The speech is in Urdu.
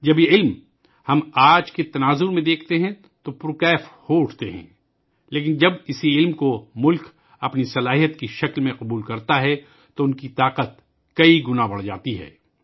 جب ہم اس علم کو آج کے تناظر میں دیکھتے ہیں تو ہم جوش میں آجاتے ہیں لیکن جب اسی علم کو ملک اپنی صلاحیت کے طور پر اعتراف کرتا ہے تو اس کی طاقت کئی گنا بڑھ جاتی ہے